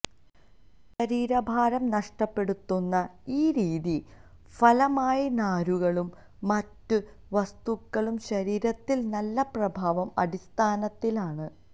ശരീരഭാരം നഷ്ടപ്പെടുത്തുന്ന ഈ രീതി ഫലമായി നാരുകളും മറ്റ് വസ്തുക്കളും ശരീരത്തിൽ നല്ല പ്രഭാവം അടിസ്ഥാനത്തിലാണ്